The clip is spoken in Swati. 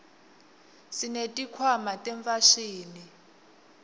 sesineti khwama tefashini